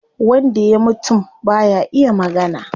Wanda ya mutum baya iya magana